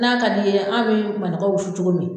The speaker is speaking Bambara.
N'a ka d'i ye an bi manɔgɔ wusu cogo min